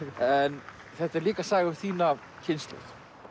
en þetta er líka saga um þína kynslóð